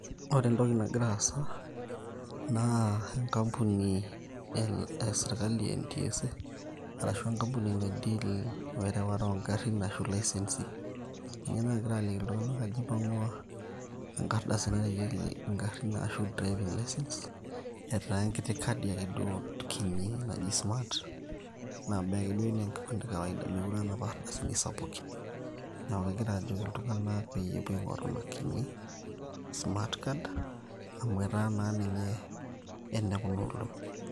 ore entoki nagira aasa naa enkampuni e sirkali e NTSA arashu enkampuni nai deal werewata oongarrin ashu ilaisensi ninye naagira aliki iltung'anak ajo ipang'ua enkardasi nareyieki ingarrin ashu driving license etaa enkiti kadi ake duo kinyi naji smart naba ake duo enaa enkipande e kawaida meekure aa napa ardasini sapukin niaku kegira ajoki iltung'anak peepuo aing'oru ina kinyi smart card amu etaa naa ninye enekuna olong'i.